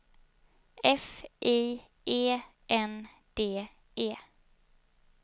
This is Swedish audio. F I E N D E